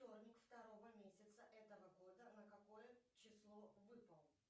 вторник второго месяца этого года на какое число выпал